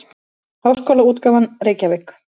Háskólaútgáfan Reykjavík.